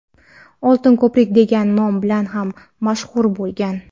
"Oltin ko‘prik" degan nom bilan ham mashhur bo‘lgan.